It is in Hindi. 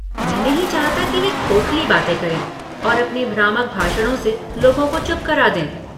मैं नहीं चाहता कि वे खोखली बातें करें और अपने भ्रामक भाषणों से लोगों को चुप करा दें।